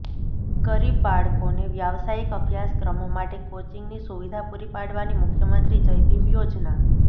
ગરીબ બાળકોને વ્યાવસાયિક અભ્યાસક્રમો માટે કોચિંગની સુવિધા પુરી પાડવાની મુખમંત્રી જય ભીમ યોજના